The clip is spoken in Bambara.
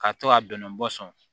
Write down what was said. K'a to ka bɛnnen bɔ sɔn